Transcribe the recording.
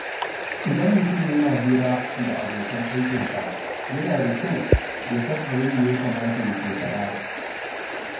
Idan mutum yana hira da abokan aikinsa, yana da kyau ya san abin da ya kamata ya ke faɗa.